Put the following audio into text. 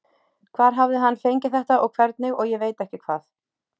Hvar hafði hann fengið þetta og hvernig og ég veit ekki hvað.